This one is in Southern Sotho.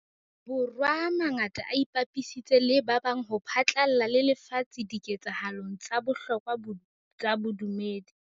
Bo rwa a mangata a ipapisitse le ba bang ho phatlalla le lefatshe dike tsahalong tsa bohlokwa tsa bodumedi.